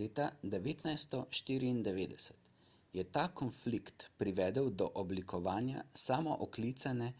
leta 1994 je ta konflikt privedel do oblikovanja samooklicane